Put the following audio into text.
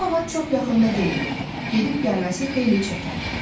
O ağac çox yaxında deyil, gedib gəlməsi xeyli çəkər.